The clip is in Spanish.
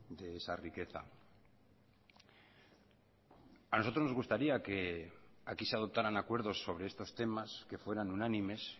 de esa riqueza a nosotros nos gustaría que aquí se adoptaran acuerdos sobre estos temas que fueran unánimes